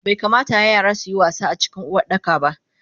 Baikamata yara suyi wasa acikin Uwardakaba